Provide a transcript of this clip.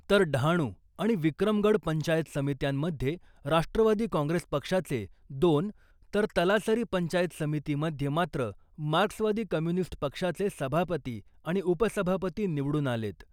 तर डहाणु आणि विक्रमगड पंचायत समित्यांमध्ये राष्ट्रवादी काँग्रेस पक्षाचे दोन तर तलासरी पंचायत समिति मध्ये मात्र मार्क्सवादी कम्युनिस्ट पक्षाचे सभापती आणि उपसभापती निवडून आलेत .